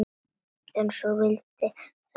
En svona vildi sagan vera